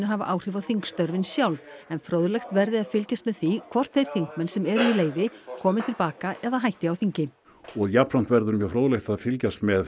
hafa áhrif á þingstörfin sjálf en fróðlegt verði að fylgjast með því hvort þeir þingmenn sem eru í leyfi komi til baka eða hætti á þingi og jafnframt verður fróðlegt að fylgjast með